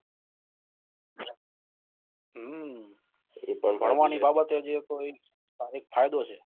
હમ ભણવાની બાબત ફાયદો છે